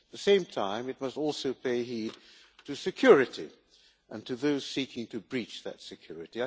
At the same time, it must also pay heed to security and to those seeking to breach that security.